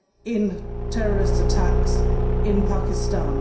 in terrorist attacks in Pakistan.